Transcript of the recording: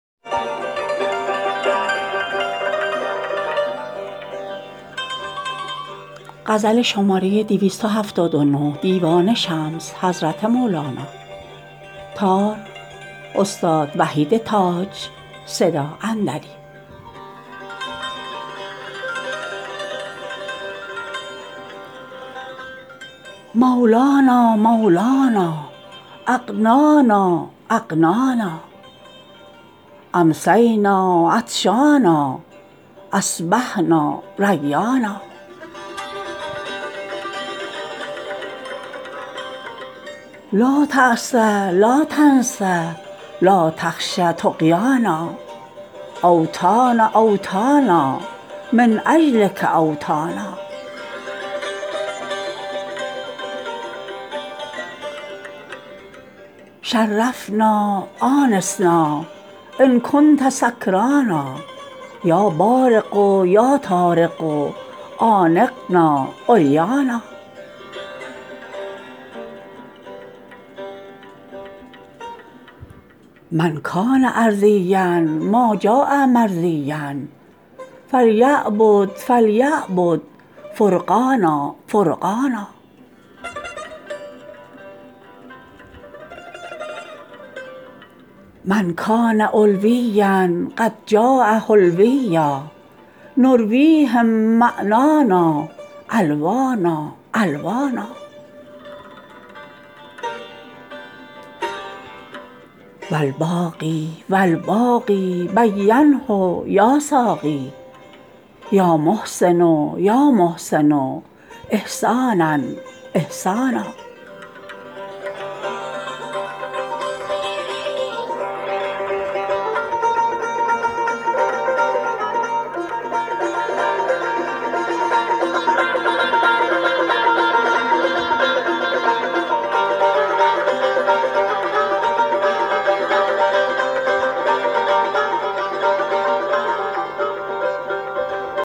مولانا مولانا اغنانا اغنانا امسینا عطشانا اصبحنا ریانا لا تاسی لا تنسی لا تخشی طغیانا اوطانا اوطانا من اجلک اوطانا شرفنا آنسنا ان کنت سکرانا یا بارق یا طارق عانقنا عریانا من کان ارضیا ما جاء مرضیا فلیعبد فلیعبد فرقانا فرقانا من کان علویا قد جاء حلویا نرویهم معنانا الوانا الوانا و الباقی و الباقی بینه یا ساقی یا محسن یا محسن احسانا احسانا